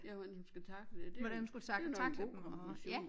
Ja hvordan hun skal tackle det det nok en god kombination